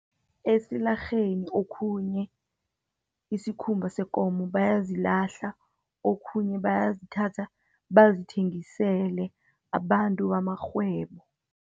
Esilarheni okhunye, isikhumba sekomo bayazilahla okhunye bayazithatha, bazithengisele abantu bamarhwebo.